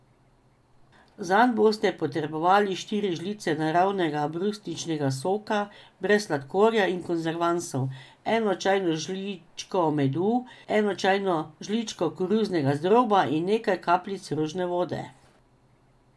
Zanj boste potrebovali štiri žlice naravnega brusničnega soka brez sladkorja in konzervansov, eno čajno žličko medu, eno čajno žličko koruznega zdroba in nekaj kapljic rožne vode.